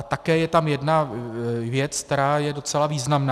A také je tam jedna věc, která je docela významná.